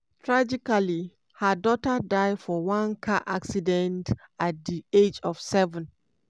tragically her daughter die for one car accident at di age of seven.